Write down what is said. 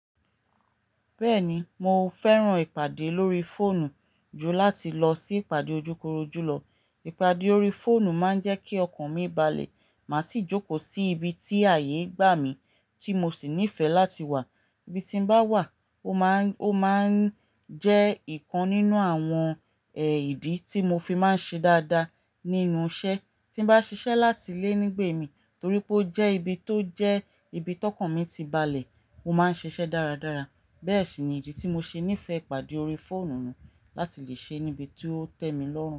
Bẹ́ẹ̀ni, mo fẹ́ràn ìpàdé lórí fóònù ju láti lọ sí ìpàdé ojúkorojú lọ. Ìpàdé lórí fóònù máa ń jẹ́ kí ọkàn mi balẹ̀, màá sì jókòó sí ibi tí ààyè gbà mí tí mo sì nífẹ̀ẹ́ láti wà. Ibi tí mo bá wà, ó máa ń, ó máa ń jẹ́ ìkan nínú àwọn èyìdí tí mo fi máa ń ṣe dáadáa nínú iṣẹ́. Tí n bá ṣiṣẹ́ láti ilé nígbẹ̀ẹ̀ mí torí pé ó jẹ́ ibi tó jẹ́ ibi tọkànmí ti balẹ̀, mo máa ń ṣiṣẹ́ dáradára. Bẹ́ẹ̀ sì ni ìdí tí mo ṣe nífẹ̀ẹ́ ìpàdé lórí fóònù láti lè ṣe níbi tí ó tẹ́ mi lọ́rùn.